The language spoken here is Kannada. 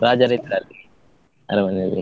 ರಾಜರು ಇದ್ರ ಅಲ್ಲಿ, ಅರಮನೆಯಲ್ಲಿ?